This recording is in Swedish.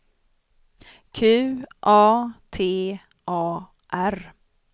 Q A T A R